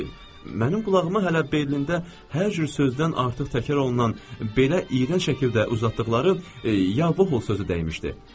Mənim qulağıma hələ Berlində hər cür sözdən artıq təkrar olunan belə iyrənc şəkildə uzatdıqları "Ya-voh!" sözü dəymişdi.